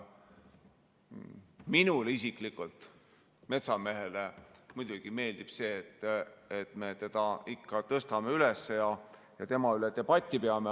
Minule isiklikult, metsamehele, muidugi meeldib see, et me seda teemat ikka tõstame üles ja tema üle debatti peame.